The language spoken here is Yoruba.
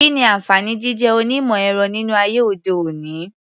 Kí ni àǹfààní jíjé onímọ̀-ẹ̀rọ nínú ayé òde-òní?